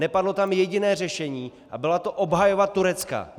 Nepadlo tam jediné řešení a byla to obhajoba Turecka.